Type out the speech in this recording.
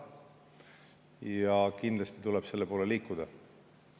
Ja kindlasti tuleb selle poole liikuda.